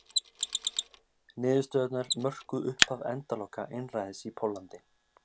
niðurstöðurnar mörkuðu upphaf endaloka einræðis í póllandi